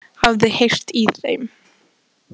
Það var langt síðan ég hafði heyrt í þeim.